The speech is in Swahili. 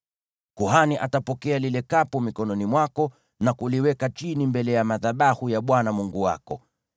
Kuhani atapokea lile kapu mikononi mwako na kuliweka chini mbele ya madhabahu ya Bwana Mungu wako.